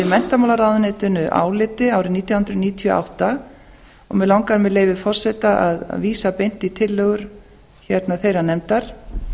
menntamálaráðuneytinu áliti árið nítján hundruð níutíu og átta og mig langaði með leyfi forseta að vísa beint í tillögur þeirrar nefndar